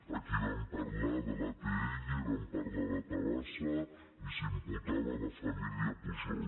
aquí vam parlar de l’atll vam parlar de tabasa i s’imputava la família pujol